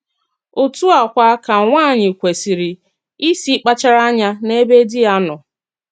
Òtú à kwa ka nwáànyị kwesìrì ísì kpàchàrà ànyà n’èbè dí ya nọ.